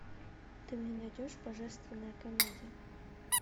ты мне найдешь божественная комедия